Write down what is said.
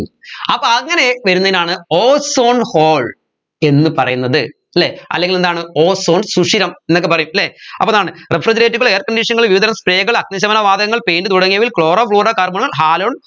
അപ്പോ അങ്ങനെ വരുന്നയിനാണ് ozone hole എന്ന് പറയുന്നത് അല്ലെ അല്ലെങ്കിൽ എന്താണ് ozone സുഷിരം എന്നൊക്കെ പറയും അല്ലെ അപ്പൊ അതാണ് refrigerator ഉകൾ airconditioner കൾ വിവിധ തരം spray കൾ അഗ്നിശമന വാതകങ്ങൾ paint തുടങ്ങിയവയിൽ chloro fluoro carbon ഉം halon